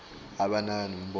abe anaka nemibono